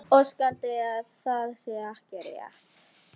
Óskandi að það sé ekki rétt.